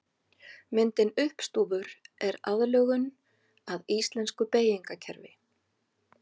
Myndin uppstúfur er aðlögun að íslensku beygingarkerfi.